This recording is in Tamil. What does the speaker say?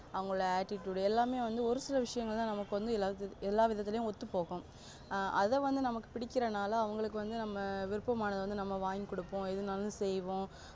அவங்களோட attitude எல்லாமே வந்து ஒரு சில விஷயங்கள்தா நமக்கு வந்து எல்லா விதத்துலயும் ஒத்து போகும் ஆ அத வந்து நமக்கு புடிக்கிரனால அவங்களுக்கு வந்து நம்ம விருப்பமானதை வாங்கி கொடுப்போம் எதுனாலும் செய்வோம்